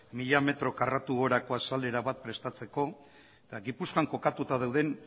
mila metro karratu gorako azalera bat prestatzeko eta gipuzkoan kokatuta dauden